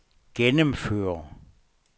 gennemføre